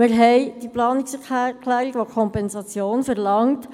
Es liegt eine Planungserklärung vor, die eine Kompensation verlangt.